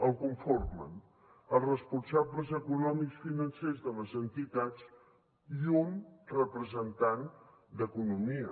el conformen els responsables econòmics financers de les entitats i un representant d’economia